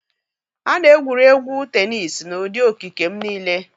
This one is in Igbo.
A na-egwuri egwu tenis n'ụdị okike m niile.